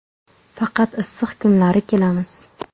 Faqat issiq kunlari kelamiz.